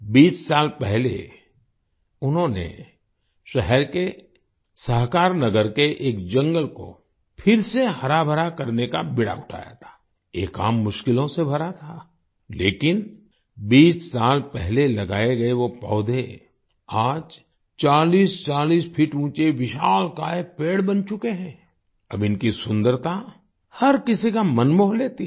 20 साल पहले उन्होंने शहर के सहकारनगर के एक जंगल को फिर से हराभरा करने का बीड़ा उठाया था आई ये काम मुश्किलों से भरा था लेकिन 20 साल पहले लगाए गए वो पौधे आज 4040 फीट ऊँचे विशालकाय पेड़ बन चुके हैं आई अब इनकी सुन्दरता हर किसी का मन मोह लेती है